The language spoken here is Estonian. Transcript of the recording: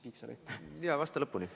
Jaa, vasta lõpuni.